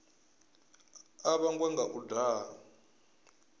a vhangwa nga u daha